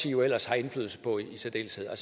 jo ellers har indflydelse på i særdeleshed er